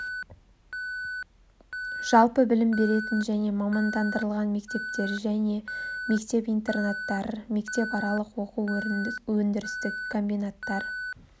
жалпы білім беретін және мамандандырылған мектептер және мектеп интернаттар мектепаралық оқу-өндірістік комбинаттар